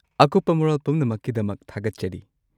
ꯑꯀꯨꯞꯄ ꯃꯔꯣꯜ ꯄꯨꯝꯅꯃꯛꯀꯤꯗꯃꯛ ꯊꯥꯒꯠꯆꯔꯤ꯫